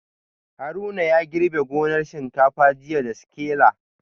Haruna ya girbe gonar shinkafa jiya da sikila